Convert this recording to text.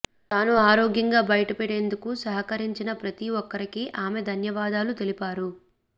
తాను ఆరోగ్యంగా బయటపడేందుకు సహకరించిన ప్రతి ఒక్కరికి ఆమె ధన్యవాదాలు తెలిపారు